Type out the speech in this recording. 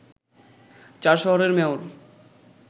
চার শহরের মেয়র